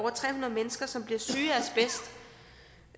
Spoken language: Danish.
mennesker som bliver syge